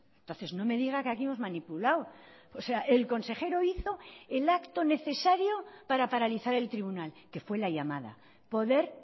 entonces no me diga que aquí hemos manipulado o sea el consejero hizo el acto necesario para paralizar el tribunal que fue la llamada poder